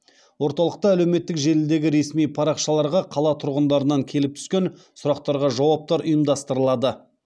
орталықта әлеуметтік желідегі ресми парақшаларға қала тұрғындарынан келіп түскен сұрақтарға жауаптар ұйымдастырылады